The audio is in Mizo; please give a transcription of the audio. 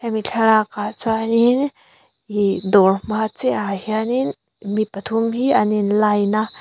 hemi thlalakah chuanin ihh dawr hma chiahah hianin mi pathum hi an in line a.